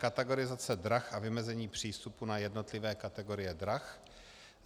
Kategorizace drah a vymezení přístupu na jednotlivé kategorie drah.